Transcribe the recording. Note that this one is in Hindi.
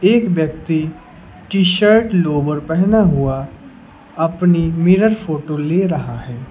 एक व्यक्ति टी-शर्ट लोअर पहना हुआ अपनी मिरर फोटो ले रहा है।